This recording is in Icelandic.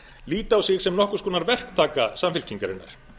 líta á sig sem nokkurs konar verktaka samfylkingarinnar